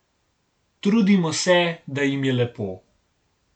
Trudimo se, da jim je lepo.